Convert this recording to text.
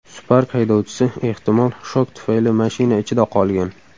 Spark haydovchisi, ehtimol, shok tufayli mashina ichida qolgan.